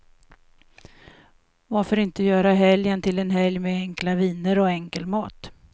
Varför inte göra helgen till en helg med enkla viner och enkel mat?